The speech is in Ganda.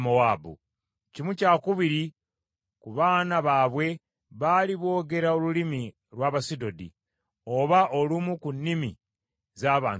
Kimu kyakubiri ku baana baabwe baali boogera olulimi lw’Abasudodi, oba olumu ku nnimi z’abantu abalala.